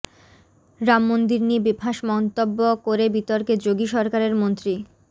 রাম মন্দির নিয়ে বেফাঁস মন্তব্য করে বিতর্কে যোগী সরকারের মন্ত্রী